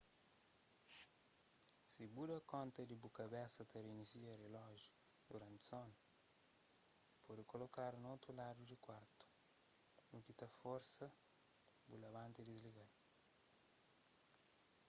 si bu da konta di bu kabesa ta reinisia rilójiu duranti sonu pode kolokadu na otu ladu di kuartu u ki ta forsa-bu pa bu labanta y disliga-l